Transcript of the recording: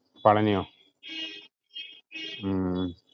പളനിയോ ഉം